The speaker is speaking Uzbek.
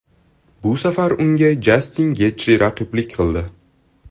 Bu safar unga Jastin Getji raqiblik qildi.